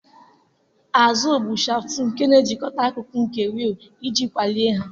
Azịịlị bụ shaftụ na-ejikọta akụkụ nke wịịlụ iji kpalie ha.